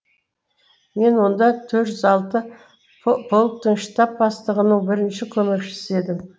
мен онда төрт жүз алты полктың штаб бастығының бірінші көмекшісі едім